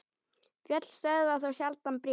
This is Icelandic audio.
Fjöll stöðva þó sjaldan bréf.